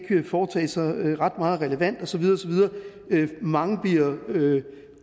foretage sig ret meget relevant og så videre osv mange bliver